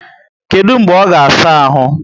Kedu mgbe ọ ga saa áhù?